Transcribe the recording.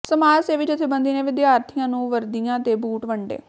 ਸਮਾਜ ਸੇਵੀ ਜਥੇਬੰਦੀ ਨੇ ਵਿਦਿਆਰਥੀਆਂ ਨੂੰ ਵਰਦੀਆਂ ਤੇ ਬੂਟ ਵੰਡੇ